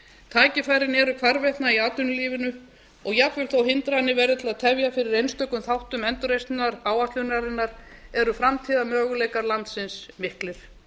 tækifærin eru hvarvetna í atvinnulífinu og jafnvel þó hindranir verði til að tefja fyrir einstökum þáttum endurreisnar áætlunarinnar eru framtíðarmöguleikar landsins miklir